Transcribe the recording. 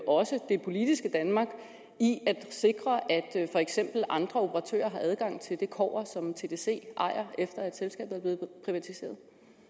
også det politiske danmark i at sikre at for eksempel andre operatører har adgang til det kobber som tdc ejer efter at selskabet er blevet privatiseret